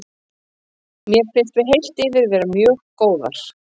Mér fannst við heilt yfir vera mjög góðar.